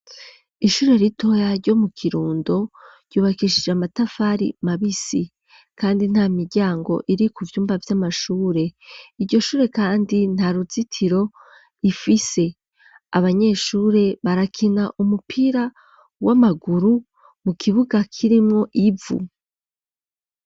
Ishure ritoya ryo mu Kirundo ryubakishije amatafari mabisi kandi nta miryango iri ku vyumba vy'amashure. Iryo shure kandi nta ruzitiro rifise. Abanyeshure barakina umupira w'amaguru mu kibuga kirimwo ivu.